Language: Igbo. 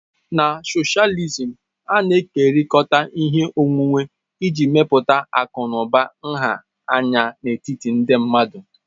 Na socialism, a na-ekekọrịta ihe onwunwe iji mepụta akụ na ụba nha anya n'etiti ndị mmadụ.